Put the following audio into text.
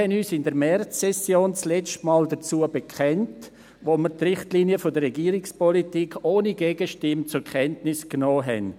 – In der Märzsession bekannten wir uns letztmals dazu, als wir die Richtlinien der Regierungspolitik ohne Gegenstimme zur Kenntnis nahmen.